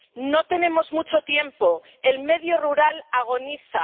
No tenemos mucho tiempo el medio rural agoniza